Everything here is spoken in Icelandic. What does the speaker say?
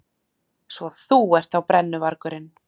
Svo þú ert þá brennuvargurinn.